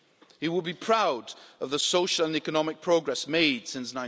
He would be proud of the social and economic progress made since